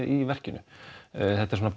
í verkinu þetta er svona